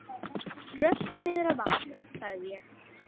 Rölti niður að vatni sagði ég.